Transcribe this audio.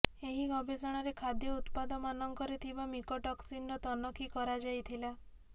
ଏହି ଗବେଷଣାରେ ଖାଦ୍ୟ ଉତ୍ପାଦମାନଙ୍କରେ ଥିବା ମିକୋଟୋକ୍ସିନ୍ର ତନଖି କରାଯାଇଥିଲା